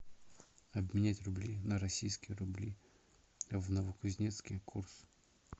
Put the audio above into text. обменять рубли на российские рубли в новокузнецке курс